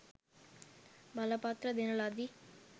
බලපත්‍ර දෙන ලදි